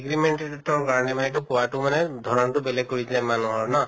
agreement তৰ কাৰণে মানে কোৱাতো মানে ধৰণ্তো বেলেগ কৰি দিলে মান্হৰ না?